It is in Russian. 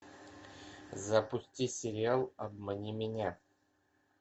запусти сериал обмани меня